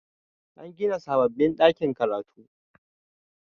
an gina sababbin ɗakin karatu